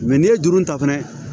n'i ye juru ta fɛnɛ